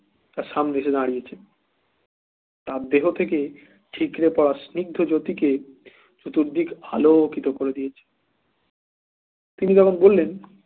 তার সামনে এসে দাঁড়িয়েছে তার দেহ থেকে ঠিকরে তার স্নিগ্ধ জ্যোতি কে চতুর্দিক আলোকিত করে দিয়েছে তিনি তখন বললেন